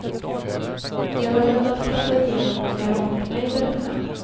Jag var rädd att klappa igenom och göra bort mig, berättar han.